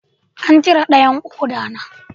An cire dayan koda na